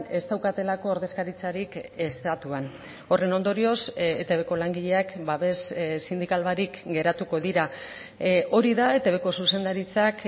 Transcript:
ez daukatelako ordezkaritzarik estatuan horren ondorioz etbko langileak babes sindikal barik geratuko dira hori da etbko zuzendaritzak